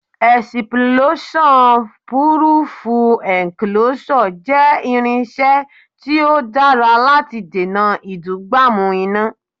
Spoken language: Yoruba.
Ẹ̀sìpúlóṣán Púrúfú Ẹ̀ǹkoloṣọ̀ jẹ́ irinṣẹ́ tí ó dára láti dènà ìdúgbàmù iná.